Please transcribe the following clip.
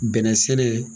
Bɛnɛ sɛnɛ